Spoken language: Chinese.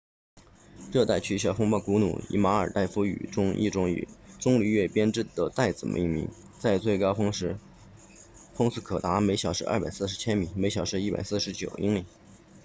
热带气旋风暴古努以马尔代夫语中一种以棕榈叶编织的袋子命名在最高峰时风速可达每小时240千米每小时149英里